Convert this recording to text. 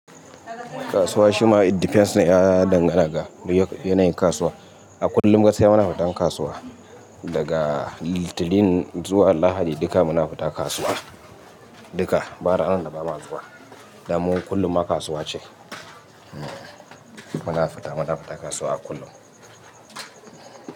Kasuwa shima it depends ne ya dangana ga yanayin kasuwa. A kullum gaskiya muna fita kasuwa daga Litinin zuwa Lahadi duka muna fita kasuwa duka ba ranar da ba mu zuwa. Dan mu kullum ma kasuwa ce. Muna fita muna fita kasuwa a kullum.